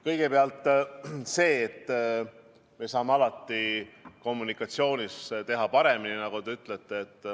Kõigepealt see, et me saame alati kommunikatsioonis teha paremini, nagu te ütlete.